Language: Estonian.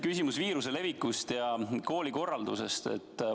Küsimus on viiruse leviku ja koolikorralduse kohta.